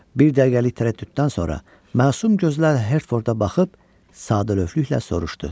Bir dəqiqəlik tərəddüddən sonra məsum gözlər Hertforda baxıb sadəlövhlüklə soruşdu.